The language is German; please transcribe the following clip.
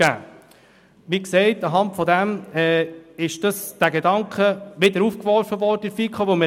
Aufgrund dieser Tatsache nahm die FiKo diesen Gedanken wieder auf, wie bereits gesagt.